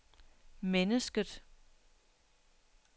mennesket